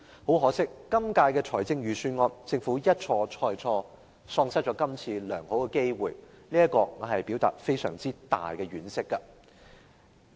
很可惜，在今年的預算案中，政府一錯再錯，喪失這次良好的機會，對這一點我表達非常大的婉惜。